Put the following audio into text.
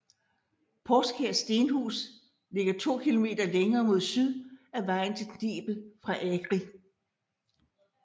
Poskær Stenhus ligger to kilometer længere mod syd ad vejen til Knebel fra Agri